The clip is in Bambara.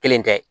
Kelen tɛ